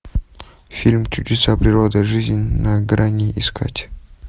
фильм чудеса природы жизнь на грани искать